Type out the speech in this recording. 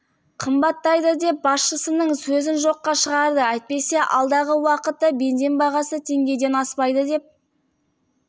қымбаттайды деп басшысының сөзін жоққа шығарды әйтпесе алдағы уақытта бензин бағасы теңгеден аспайды деп